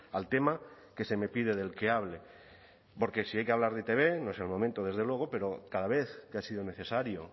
al tema que se me pide del que hable porque si hay que hablar de e i te be no es el momento desde luego pero cada vez que ha sido necesario